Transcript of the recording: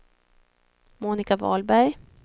Monika Wahlberg